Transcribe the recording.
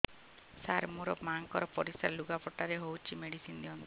ସାର ମୋର ମାଆଙ୍କର ପରିସ୍ରା ଲୁଗାପଟା ରେ ହଉଚି ମେଡିସିନ ଦିଅନ୍ତୁ